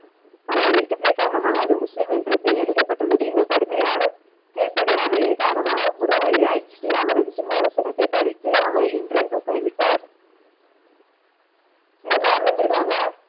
பல எச்சரிக்கைகளின் காரணமாக அதில் முஸ்லிம் என்று எழுதப்பட்டுள்ளது இதன் கடுமையான கீழ்பனியால்மையின் காரணமாக குரு ராய் அவர் சிம்மான சிறப்பை பறித்து அவரை என்றென்றும் கைவிட்டார் இதன் காரணத்திற்காக.